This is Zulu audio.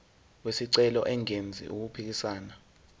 wesicelo engenzi okuphikisana